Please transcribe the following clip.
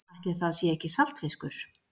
Ætli það sé ekki saltfiskur.